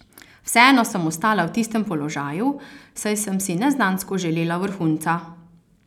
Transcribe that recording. Vseeno sem ostala v tistem položaju saj sem si neznansko želela vrhunca.